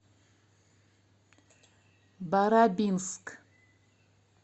барабинск